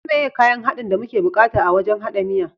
Su meye kayan haɗin da muke bukata a wajan haɗa miyan?